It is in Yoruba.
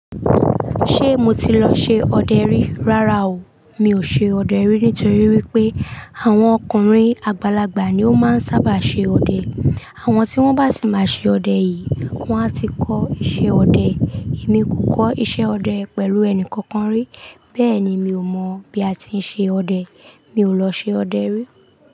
Ṣé mo ti lọ ṣe ọdẹ rí? Rárá o. Mi ò ṣe ọdẹ rí nítorí wípé àwọn ọkùnrin àgbàlagbà ni ó máa ń sábà ṣe ọdẹ. Àwọn tí wón bá sì máa ṣe ọdẹ yìí, wón a ti kọ́ iṣẹ́ ọdẹ. Èmi kò kọ́ iṣẹ́ ọdẹ pẹ̀lú ẹni kankan rí, bẹ́ẹ̀ ni mi ò mọ̀ bí a ti ń ṣe ọdẹ. Mi ò lọ ṣe ọdẹ rí.